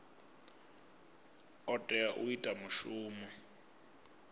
o tea u ita mushumo